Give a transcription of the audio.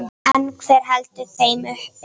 En hver heldur þeim uppi?